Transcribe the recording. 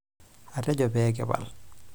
Atejo pee kipal.